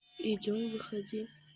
идём выходи